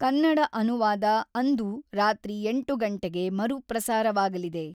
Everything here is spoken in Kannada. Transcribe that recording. ಕನ್ನಡ ಅನುವಾದ ಅಂದು ರಾತ್ರಿ ಎಂಟು ಗಂಟೆಗೆ ಮರು ಪ್ರಸಾರವಾಗಲಿದೆ.